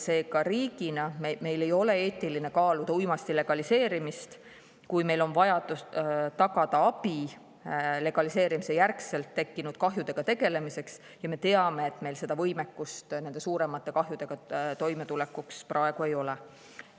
Seega riigina meil ei ole eetiline kaaluda uimasti legaliseerimist, kui meil oleks tegeleda pärast legaliseerimist tekkinud kahjudega ja me teame, et meil võimekust nende suuremate kahjudega toimetulekuks praegu ei ole.